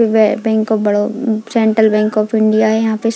Why bank of Baroda um central bank of India है यहाँ पे।